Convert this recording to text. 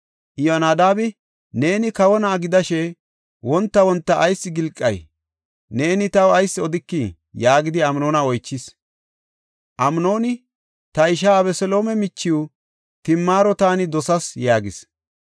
Iyyonadaabi, “Neeni kawo na7a gidashe wonta wonta ayis gilqay? Neeni taw ayis odikii?” yaagidi Amnoona oychis. Amnooni, “Ta ishaa Abeseloome michiw Timaaro taani dosas” yaagis.